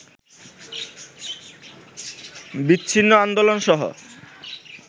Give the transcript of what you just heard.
বিচ্ছিন্ন আন্দোলনসহ